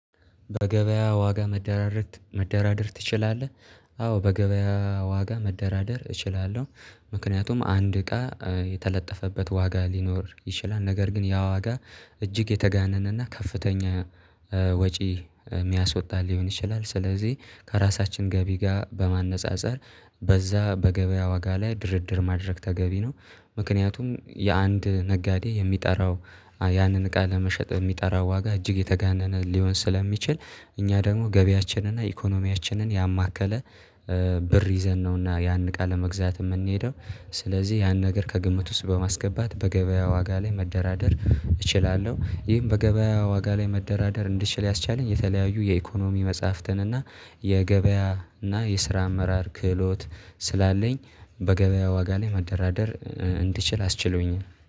በገበያ ዋጋ መደራደር መደራደር ትችላለህ? አዎ በገበያ ዋጋ መደራደር እችላለሁ። ምክንያቱም አንድ እቃ የተለጠፈበት ዋጋ ሊኖር ይችላል ነገር ግን ያ ዋጋ እጅግ የተጋነነና ከፍተኛ ወጪ የሚያስወጣ ሊሆን ይችላል ስለዚህ ከራሳችን ገቢ ጋር በማነፃፀር በዛ በገበያ ዋጋ ላይ ድርድር ማድረግ ተገቢ ነው። ምክንያቱም የአንድ ነጋዴ የሚጠራው ያንን እቃ ለመሸጥ የሚጠራ ዋጋ እጅግ የተጋነነ ሊሆን ስለሚችል እኛ ደግሞ ገቢያችንን እና ኢኮኖሚያችንን ያማከለ ብር ይዘን ነውና ያን ቃለመግዛት የምንሄደው። ስለዚህ ያን ነገር ከግምት ውስጥ በማስገባት በገበያ ዋጋ ላይ መደራደር እችላለሁ ይህም በገበያ ዋጋ ላይ መደራደር እንድችል ያስቻለኝ የተለያዩ የኢኮኖሚ መጽሐፍትን እና የገበያ እና የስራ አመራር ክህሎት ስላለኝ በገበያ ዋጋ ላይ መደራደር እንድችል አስችሎኝ